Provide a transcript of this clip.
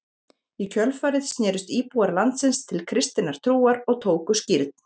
Í kjölfarið snerust íbúar landsins til kristinnar trúar og tóku skírn.